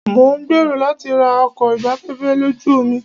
Mo ń gbèrò láti ra ọkọ̀ ìgbafẹ́fẹ́ lójú omi.